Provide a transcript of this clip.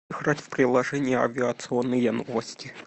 играть в приложение авиационные новости